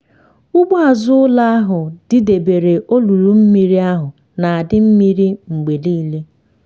ugbo azụ ụlọ ahụ didebere olulu mmiri ahụ na-adị mmiri mgbe niile.